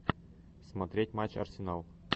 смотреть матч арсенал